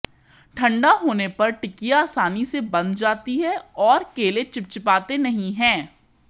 ठंडा होने पर टिकिया आसानी से बंध जाती है और केले चिपचिपाते नहीं हैं